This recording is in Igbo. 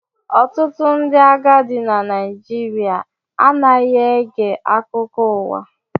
Ọtụtụ ndị agadi na Naịjirịa anaghị ege akụkọ ụwa